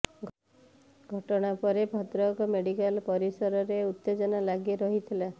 ଘଟଣା ପରେ ଭଦ୍ରକ ମେଡିକାଲ ପରିସରରେ ଉତ୍ତେଜନା ଲାଗି ରହିଥିଲା